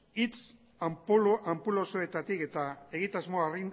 hitz anpulosoetatik eta egitasmoa